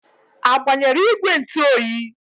A gbanyere ìgwè ntụ oyi?